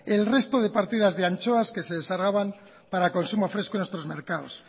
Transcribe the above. el resto de partidas de anchoas que se descargaban para el consumo fresco en nuestros mercados